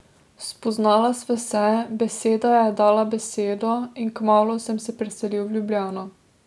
Spoznala sva se, beseda je dala besedo in kmalu sem se preselil v Ljubljano.